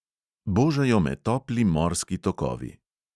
Božajo me topli morski tokovi.